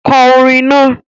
Kọ orin náà!